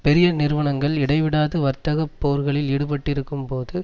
பெரிய நிறுவனங்கள் இடைவிடாது வர்த்தக போர்களில் ஈடுபட்டிருக்கும் போது